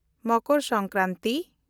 Makar Sankranti